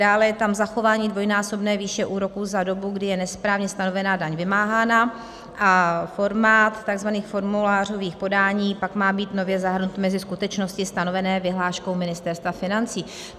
Dále je tam zachování dvojnásobné výše úroků za dobu, kdy je nesprávně stanovená daň vymáhána, a formát tzv. formulářových podání pak má být nově zahrnut mezi skutečnosti stanovené vyhláškou Ministerstva financí.